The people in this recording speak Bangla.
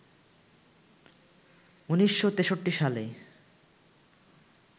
১৯৬৩ সালে